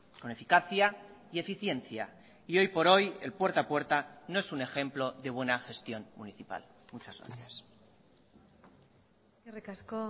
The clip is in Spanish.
con eficacia y eficiencia y hoy por hoy el puerta a puerta no es un ejemplo de buena gestión municipal muchas gracias eskerrik asko